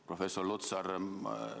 Professor Lutsar!